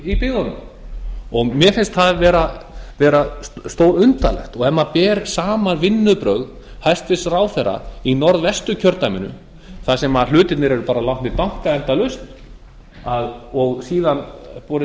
í byggðunum mér finnst það vera stórundarlegt ef maður ber saman vinnubrögð hæstvirtur ráðherra í norðvestur kjördæminu þar sem hlutirnir eru bara látnir danka endalaust og síðan er borið